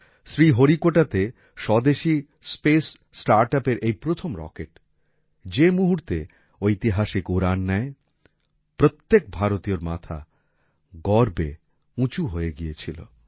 শ্রীহরিকোটাতে স্বদেশী space startup এর এই প্রথম রকেট যে মুহূর্তে ঐতিহাসিক উড়ান নেয় প্রত্যেক ভারতীয়র মাথা গৌরবে উচুঁ হয়ে গিয়েছিল